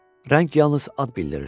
Rəng yalnız ad bildirir.